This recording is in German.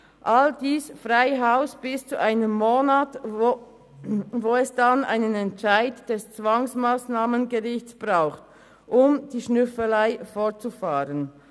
All dies bis zu einen Monat lang, wo es dann einen Entscheid des Zwangsmassnahmengerichts braucht, um mit der Schnüffelei fortzufahren.